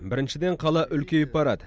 біріншіден қала үлкейіп барады